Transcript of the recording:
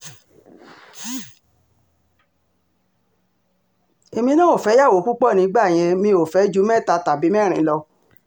èmi náà ò fẹ́yàwó púpọ̀ nígbà yẹn mi ò fẹ́ ju mẹ́ta tàbí mẹ́rin lọ